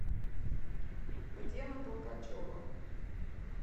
татьяна толкачева